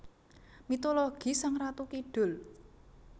Mitologi Sang Ratu Kidul